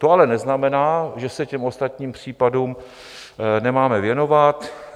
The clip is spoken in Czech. To ale neznamená, že se těm ostatním případům nemáme věnovat.